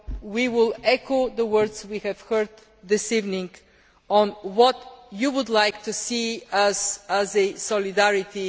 We will echo the words we have heard this evening on what you would like to see by way of solidarity.